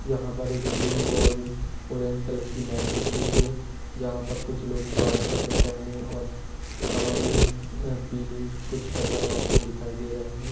यहाँ पर एक ब्लू और ऑरेंज कलर की मैट बिछी हुई हैं। यहाँ पर कुछ लोग व्हाइट कपड़े पहने और कमर मे पीली कुछ कपड़ा बाँधें दिखायी दे रहे हैं।